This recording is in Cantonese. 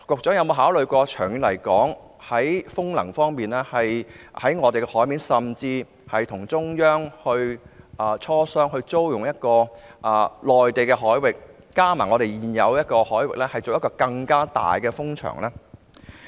此外，在風能方面，局長有否考慮與中央磋商，可否租用內地海域，以便在本港海域及內地海域建設一個更大的風場？